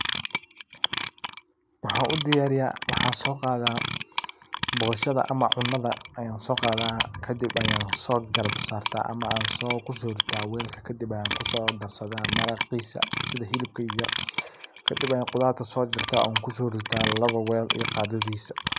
Waxan u diyariya oo boshada ayan so qataa oo cunada aya garab digta welka kadib ayan kuso dadsadha maraqisa ,sidha xilibka yaryar kadib ayan khudarta so jajarta ,oo kusorita laba wel iyo qadadisa.